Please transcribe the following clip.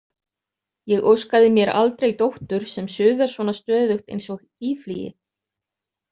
Ég óskaði mér aldrei dóttur sem suðar svona stöðugt eins og býflygi.